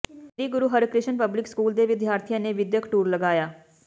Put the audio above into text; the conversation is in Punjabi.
ਸ੍ਰੀ ਗੁਰੂ ਹਰਕਿ੍ਸ਼ਨ ਪਬਲਿਕ ਸਕੂਲ ਦੇ ਵਿਦਿਆਰਥੀਆਂ ਨੇ ਵਿੱਦਿਅਕ ਟੂਰ ਲਗਾਇਆ